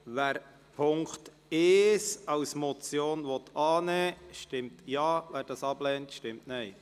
Wer den Punkt 1 als Motion annehmen will, stimmt Ja, wer diesen ablehnt, stimmt Nein.